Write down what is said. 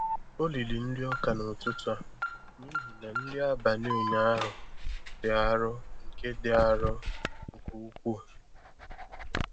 O riri nriọka n'ụtụtụ a n'ihi na nri abalị ụnyaahụ dị arọ nke dị arọ nke ukwuu.